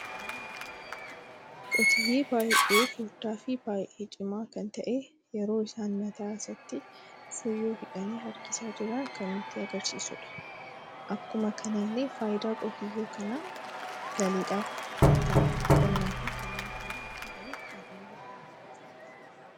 Qotiyyee baay'ee furdaa fi baay'ee cima kan ta'e yeroo isan mataa isaatti funyoo hidhani harkisaa jiran kan nutti agarsiisuudha. Akkuma kanallee faayidan qotiyyoo kana galiidhaf, nyaataaf, qonna fi kanneen kan fakkatanif kan ooluudha.